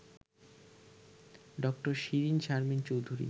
ড:শিরীন Sharmin Chowdhury